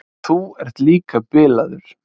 Þú ert líka bilaður.